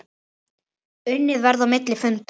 Unnið verði á milli funda.